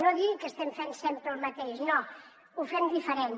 no digui que estem fent sempre el mateix no ho fem diferent